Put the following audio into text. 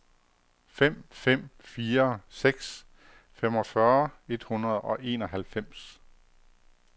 fem fem fire seks femogfyrre et hundrede og enoghalvfems